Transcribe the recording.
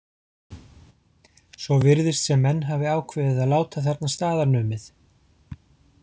Svo virðist sem menn hafi ákveðið að láta þarna staðar numið.